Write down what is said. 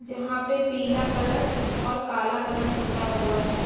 जहाँ पे पीला कलर और काला कलर पता हुआ है।